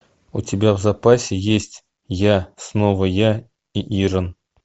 у тебя в запасе есть я снова я и ирэн